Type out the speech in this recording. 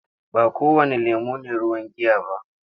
Ba kowanne lemon ne ruwan giya ba.